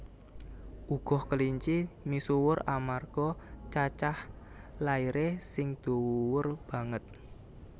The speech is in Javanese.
Uga kelinci misuwur amarga cacah lairé sing dhuwur banget